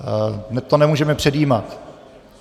To nemůžeme předjímat.